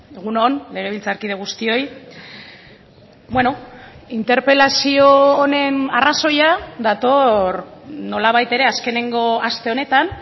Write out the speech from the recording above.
egun on legebiltzarkide guztioi bueno interpelazio honen arrazoia dator nolabait ere azkeneko aste honetan